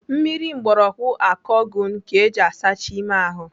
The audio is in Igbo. Mmiri mgbọrọgwụ akogun ka eji asacha ime ahụ.